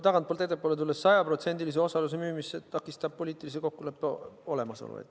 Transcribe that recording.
Tagantpoolt ettepoole tulles, 100%-lise osaluse müümist takistab poliitilise kokkuleppe olemasolu.